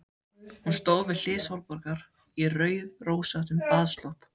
Hún stóð við hlið Sólborgar í rauðrósóttum baðslopp.